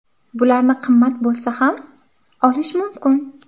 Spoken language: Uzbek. Bularni qimmat bo‘lsa ham, olish mumkin.